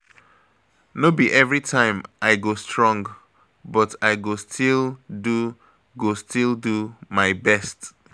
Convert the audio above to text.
No be every time I go strong, but I go still do go still do my best.